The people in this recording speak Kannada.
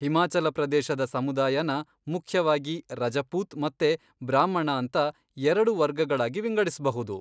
ಹಿಮಾಚಲ ಪ್ರದೇಶದ ಸಮುದಾಯನ ಮುಖ್ಯವಾಗಿ ರಜಪೂತ್ ಮತ್ತೆ ಬ್ರಾಹ್ಮಣ ಅಂತ ಎರಡು ವರ್ಗಗಳಾಗಿ ವಿಂಗಡಿಸ್ಬಹುದು.